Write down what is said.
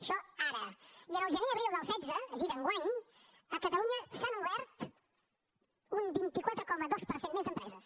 això ara i en el gener abril del setze és a dir d’enguany a catalunya s’han obert un vint quatre coma dos per cent més d’empreses